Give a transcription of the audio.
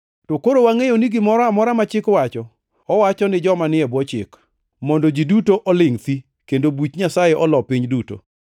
To koro wangʼeyo ni gimoro amora ma Chik wacho, owacho ni joma ni e bwo chik, mondo ji duto olingʼ thi, kendo buch Nyasaye olo piny duto.